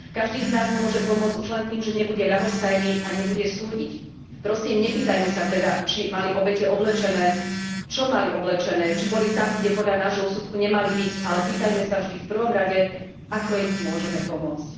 Každý z nás môže pomôcť už len tým, že nebude ľahostajný a nebude súdiť. Prosím, nepýtajme sa teda, či mali obete oblečené, čo mali oblečené, či boli tam, kde podľa nášho úsudku nemali byť, ale pýtajme sa vždy v prvom rade, ako im môžeme pomôcť.